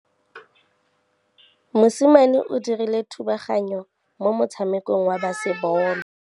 Mosimane o dirile thubaganyô mo motshamekong wa basebôlô.